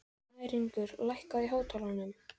Snæringur, lækkaðu í hátalaranum.